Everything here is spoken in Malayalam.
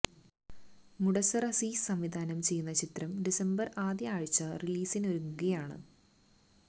മുഡസ്സര് അസീസ് സംവിധാനം ചെയ്യുന്ന ചിത്രം ഡിസംബര് ആദ്യ ആഴ്ച റിലീസിനൊരുങ്ങുകയാണ്